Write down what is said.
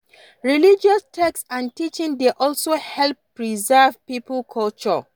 Religious text and teaching dey also help preserve pipo culture